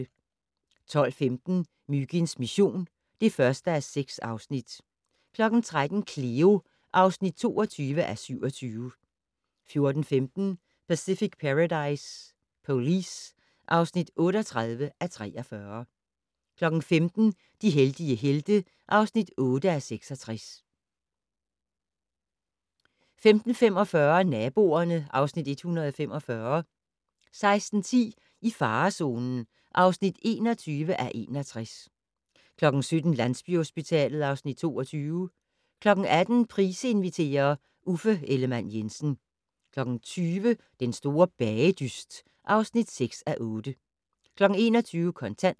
12:15: Myginds mission (1:6) 13:00: Cleo (22:27) 14:15: Pacific Paradise Police (38:43) 15:00: De heldige helte (8:66) 15:45: Naboerne (Afs. 145) 16:10: I farezonen (21:61) 17:00: Landsbyhospitalet (Afs. 22) 18:00: Price inviterer - Uffe Ellemann-Jensen 20:00: Den store bagedyst (6:8) 21:00: Kontant